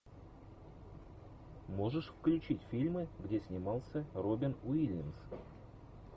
можешь включить фильмы где снимался робин уильямс